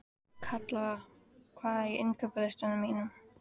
Kalla, hvað er á innkaupalistanum mínum?